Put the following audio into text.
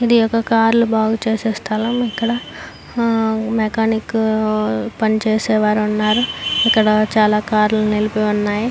ఇదొక కార్ లు బాగుచేసే స్థలం. ఇక్కడ హుమ్ మెకానిక్ పని చేసేవారు ఉన్నారు. ఇక్కడ చాల కార్లు నిలబడినయ్.